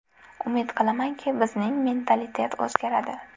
Umid qilamanki, bizning mentalitet o‘zgaradi.